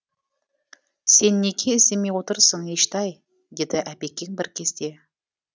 сен неге іздемей отырсың ештай деді әбекең бір кезде